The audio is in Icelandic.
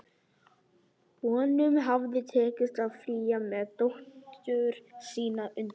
Honum hafði tekist að flýja með dóttur sína undan